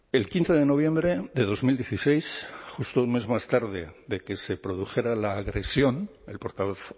el quince de noviembre de dos mil dieciséis justo un mes más tarde de que se produjera la agresión el portavoz